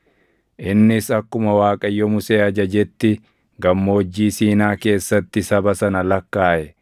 innis akkuma Waaqayyo Musee ajajetti Gammoojjii Siinaa keessatti saba sana lakkaaʼe.